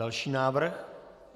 Další návrh.